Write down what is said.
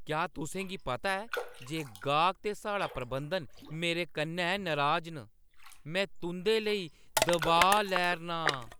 क्या तुसें गी पता ऐ जे गाह्क ते साढ़ा प्रबंधन मेरे कन्नै नराज न? मैं तुंʼदे लेई दबाऽ लै 'रना आं ।